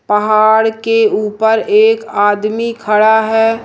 पहाड़ के ऊपर एक आदमी खड़ा हैं।